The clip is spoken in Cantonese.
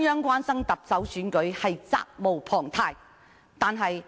關注特首選舉，中央責無旁貸。